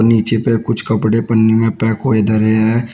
पीछे पे कुछ कपड़े पन्नी में पैक हुए धरे है।